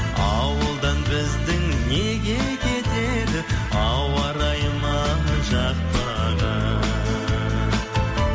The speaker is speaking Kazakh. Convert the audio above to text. ауылдан біздің неге кетеді ауа райы ма жақпаған